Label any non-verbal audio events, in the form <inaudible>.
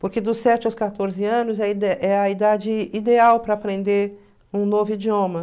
Porque dos sete aos quatorze anos <unintelligible> é a idade ideal para aprender um novo idioma.